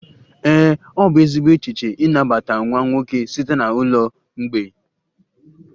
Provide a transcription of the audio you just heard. Ee, ọ bụ ezigbo echiche ịnabata nwa nwoke site na ụlọ mgbei